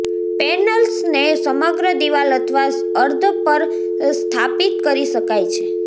પેનલ્સને સમગ્ર દીવાલ અથવા અર્ધ પર સ્થાપિત કરી શકાય છે